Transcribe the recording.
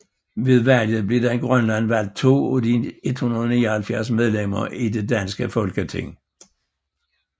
Ved valget blev der i Grønland valgt 2 af de 179 medlemmer i det danske Folketing